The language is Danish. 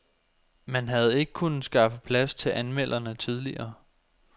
Man havde ikke kunnet skaffe plads til anmelderne tidligere.